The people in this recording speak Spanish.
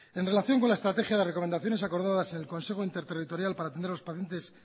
en relación con la estrategia de recomendaciones acordadas en el consejo interterritorial para atender a los pacientes